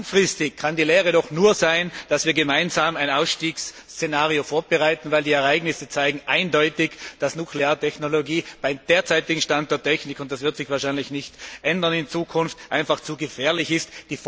Langfristig kann die Lehre nur sein, dass wir gemeinsam ein Ausstiegsszenario vorbereiten, denn die Ereignisse zeigen eindeutig, dass die Nukleartechnologie beim derzeitigen Stand der Technik und das wird sich wahrscheinlich in Zukunft nicht ändern zu gefährlich ist.